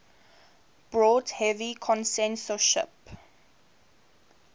brought heavy censorship